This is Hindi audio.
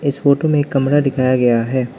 इस फोटो में एक कमरा दिखाया गया है।